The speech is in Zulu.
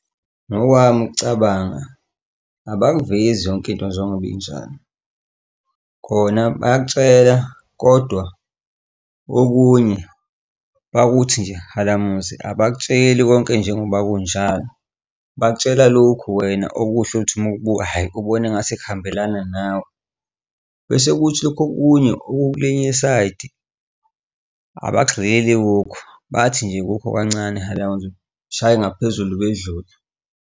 Ngokwami ukucabanga abayivezi yonke into njengoba injalo, khona bayakutshela kodwa okunye bakuthi nje halamuzi abakutsheli konke njengoba kunjalo bakutshela lokhu. Wena okusho uthi uma ukubuka, hhayi, ubone engase kuhambelana nawe. Bese kuthi lokhu okunye okwelinye isayidi abagxili kukho bathi nje kukho kancane halamuzi bashaye ngaphezulu bedlule.